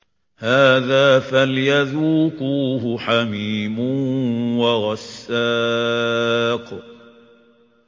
هَٰذَا فَلْيَذُوقُوهُ حَمِيمٌ وَغَسَّاقٌ